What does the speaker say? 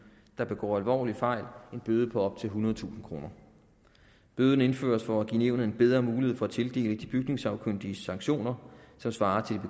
der begår alvorlige fejl en bøde på op til ethundredetusind kroner bøden indføres for at give nævnet en bedre mulighed for at tildele de bygningssagkyndige sanktioner som svarer til